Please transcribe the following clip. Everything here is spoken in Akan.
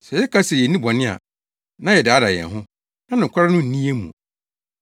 Sɛ yɛka se yenni bɔne a, na yɛdaadaa yɛn ho, na nokware no nni yɛn mu.